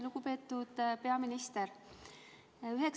Lugupeetud peaminister!